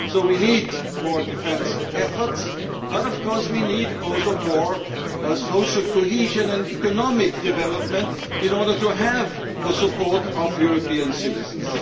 So we need more defence efforts, but of course we also need more social cohesion and economic development in order to have the support of European citizens.